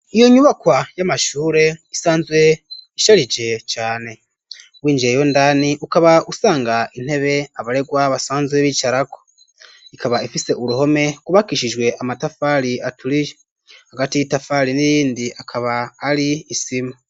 Iyo nyubakwa y'amashure isanzwe isharije cane, w'injiyeyo indani ukaba uhasanga intebe abaregwa basanzwe b'icarako ikaba ifise uruhome rwubakishijwe amatafari aturiye hagati y'itafari n'irindi akaba hari isima.